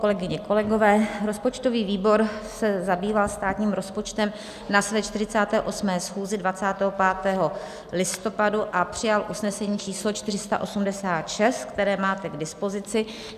Kolegyně, kolegové, rozpočtový výbor se zabýval státním rozpočtem na své 48. schůzi 25. listopadu a přijal usnesení číslo 486, které máte k dispozici.